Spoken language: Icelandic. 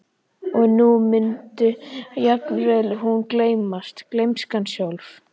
Og nú mundi jafnvel hún gleymast, gleymskan sjálf.